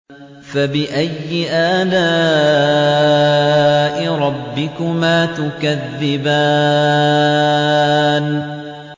فَبِأَيِّ آلَاءِ رَبِّكُمَا تُكَذِّبَانِ